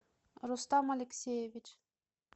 рустам алексеевич